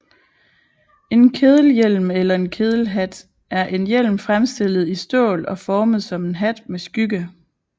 En kedelhjelm eller kedelhat er en hjelm fremstillet i stål og formet som en hat med skygge